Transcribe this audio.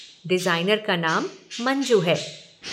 Designer का नाम मंजू है।